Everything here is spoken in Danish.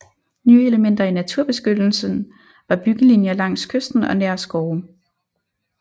Nye elementer i naturbeskyttelsen var byggelinjer langs kysten og nær skove